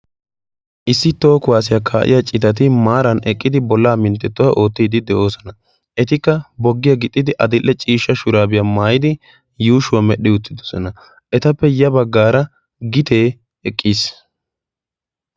issi toho kuwaasiyaa kaa'iya citati maaran eqqidi bollaa minttettuwaa oottidi de'oosona etikka boggiyaa gixxidi adil''e ciishsha shuraabiyaa maayidi yuushuwaa medhdhi uttidosona etappe ya baggaara gitee eqqiis